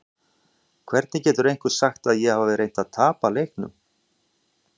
Hvernig getur einhver sagt að ég hafi reynt að tapa leiknum?